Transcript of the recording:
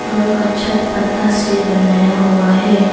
घर का छत पत्ता से बनाया हुआ है।